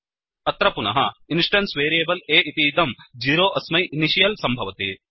अत्र पुनः instance variable a इतीदं 0 अस्मै इनिशियल् सम्भवति